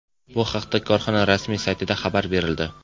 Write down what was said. Bu haqda korxona rasmiy saytida xabar berildi .